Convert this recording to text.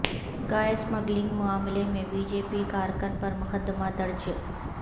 گائے اسمگلنگکے معاملے میں بی جے پی کارکن پر مقدمہ درج